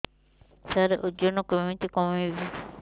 ସାର ଓଜନ କେମିତି କମେଇବି